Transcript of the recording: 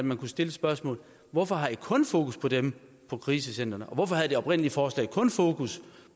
man stille spørgsmålet hvorfor har i kun fokus på dem på krisecentrene og hvorfor havde det oprindelige forslag kun fokus